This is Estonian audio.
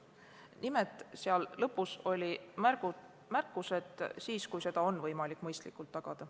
Nimelt, seal lõpus oli märkus, et siis, kui seda on võimalik mõistlikult tagada.